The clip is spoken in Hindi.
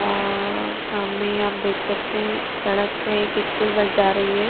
और सामने आप देख सकते हैं सड़क पे एक स्कूल बस जा रही है।